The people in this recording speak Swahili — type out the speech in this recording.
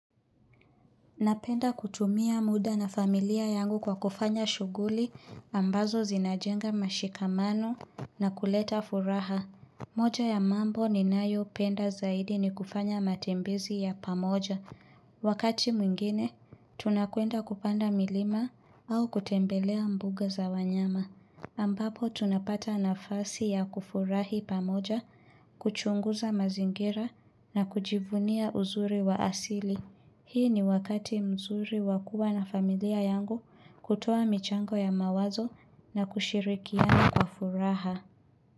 Napenda kutumia muda na familia yangu kwa kufanya shuguli ambazo zinajenga mashikamano na kuleta furaha. Moja ya mambo ninayopenda zaidi ni kufanya matembezi ya pamoja. Wakati mwingine, tunakwenda kupanda milima au kutembelea mbuga za wanyama. Ambapo tunapata nafasi ya kufurahi pamoja, kuchunguza mazingira na kujivunia uzuri wa asili. Hii ni wakati mzuri wa kuwa na familia yangu kutoa michango ya mawazo na kushirikiana kwa furaha.